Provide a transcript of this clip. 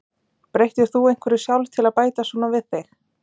Breyttir þú einhverju sjálf til að bæta svona við þig?